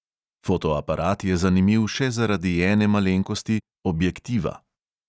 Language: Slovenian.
Fotoaparat je zanimiv še zaradi ene malenkosti, objektiva.